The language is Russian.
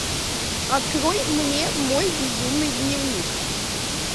открой мне мой безумный дневник